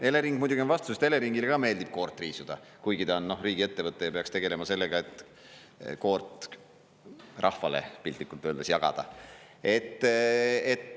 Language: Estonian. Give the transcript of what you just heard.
Elering muidugi on vastu, sest Eleringile ka meeldib koort riisuda, kuigi ta on riigiettevõte ja peaks tegelema sellega, et koort rahvale piltlikult öeldes jagada.